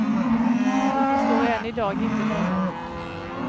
Vi förstår än i dag inte något.